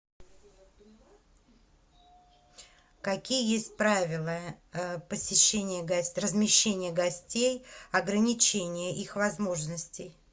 какие есть правила посещения размещения гостей ограничения их возможностей